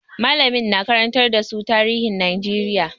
Mallamin na karantar da su tarihin Najeriya.